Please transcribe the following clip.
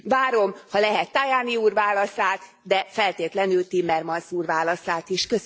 Várom, ha lehet, Tajani úr válaszát, de feltétlenül Timmermans úr válaszát is.